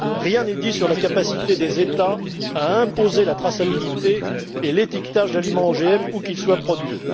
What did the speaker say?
Rien n'est dit sur la capacité des États à imposer la traçabilité et l'étiquetage de l'aliment OGM où qu'il soit produit.